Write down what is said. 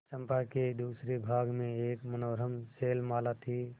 चंपा के दूसरे भाग में एक मनोरम शैलमाला थी